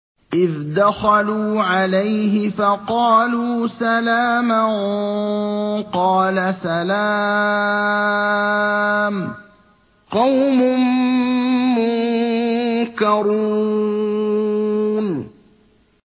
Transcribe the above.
إِذْ دَخَلُوا عَلَيْهِ فَقَالُوا سَلَامًا ۖ قَالَ سَلَامٌ قَوْمٌ مُّنكَرُونَ